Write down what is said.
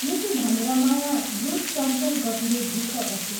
" यति भनेर माया द्रुत चञ्चल गतिले भित्र पसी।